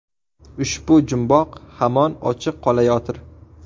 Ushbu jumboq hamon ochiq qolayotir.